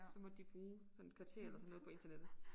Så måtte de bruge sådan et kvarter eller sådan noget på internettet